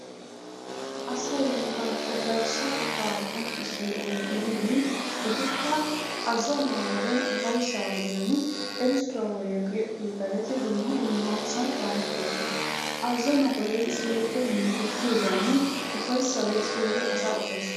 Asay bantta garssa qofaa qonccissiyo oge gididi etikka azzanuwa wodee ufayssa wodiyan erissuwa wodiyankka yexettiyo yettaa getettidi dumma dummasan shahettosona. Azzanuwa wode yexxissiyo yettay minttettiyogaanne ufayssa wodiyan yexissiyogee asaa ufayssiyogaa.